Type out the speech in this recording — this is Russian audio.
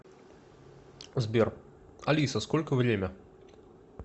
сбер алиса сколько время